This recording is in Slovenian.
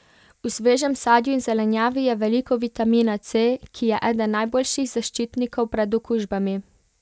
V svežem sadju in zelenjavi je veliko vitamina C, ki je eden najboljših zaščitnikov pred okužbami.